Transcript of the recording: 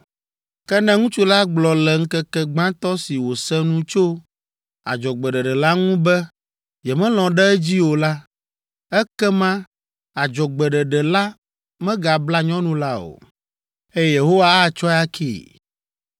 Ke ne ŋutsu la gblɔ le ŋkeke gbãtɔ si wòse nu tso adzɔgbeɖeɖe la ŋu be yemelɔ̃ ɖe edzi o la, ekema adzɔgbeɖeɖe la megabla nyɔnu la o, eye Yehowa atsɔe akee.